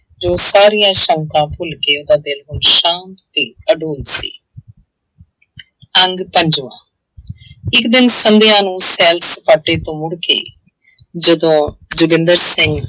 ਜੋ ਸਾਰੀਆਂ ਸੰਕਾਂ ਭੁੱਲ ਕੇ ਉਹਦਾ ਦਿਲ ਹੁਣ ਸ਼ਾਂਤ ਤੇ ਆਡੋਲ ਸੀ ਅੰਗ ਪੰਜਵਾਂ ਇੱਕ ਦਿਨ ਸੰਧਿਆ ਨੂੰ ਸੈਰ ਸਪਾਟੇ ਤੋਂ ਮੁੜ ਕੇ ਜਦੋਂ ਜੋਗਿੰਦਰ ਸਿੰਘ